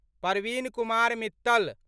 Parveen Kumar Mittal